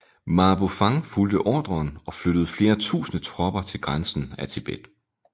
Ma Bufang fulgte ordren og flyttede flere tusinde tropper til grænsen af Tibet